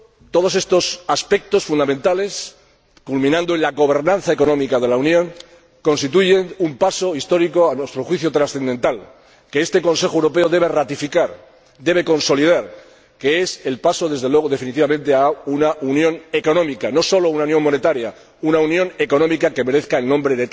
Todos estos aspectos fundamentales, culminando en la gobernanza económica de la Unión, constituyen un paso histórico, a nuestro juicio trascendental, que este Consejo Europeo debe ratificar y debe consolidar, que es el paso desde luego definitivamente a una unión económica, no sólo una unión monetaria, una unión económica que merezca tal nombre.